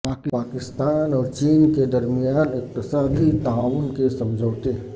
پاکستان اور چین کے درمیان اقتصادی تعاون کے سمجھوتے